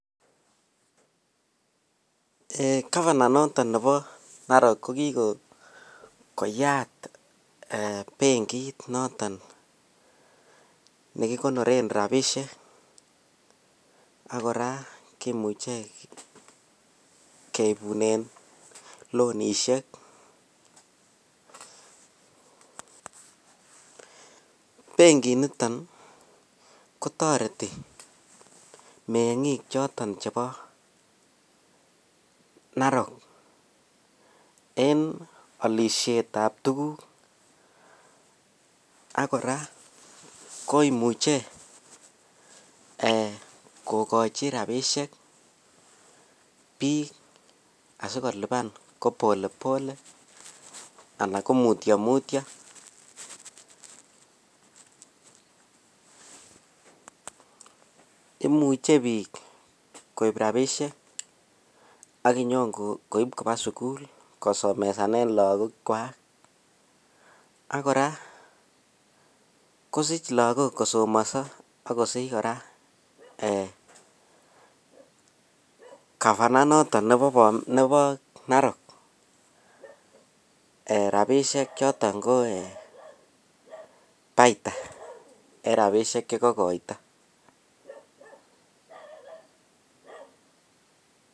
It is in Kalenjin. Eeh gavana noton nebo Narok ko kikoyat benkit noton nekikonoren rabishek ak kora kimuche keibunen laonishek, benkiniton kotoreti mengik choton chebo Narok en olishetab tukuk ak kora koimuche eeh kokochi abishek biik asikoliban ko pole pole alaa ko mutio mutio, imuche biik koib rabishek ak inyon koib kobaa sukul kosomesanen lokokwak ak kora kosich lokok kosomoso ak kosich kora eeh gavana noton nebo Narok eeh rabishek choton ko eeh baita en rabishek chekokoito.